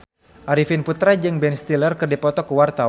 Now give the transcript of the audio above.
Arifin Putra jeung Ben Stiller keur dipoto ku wartawan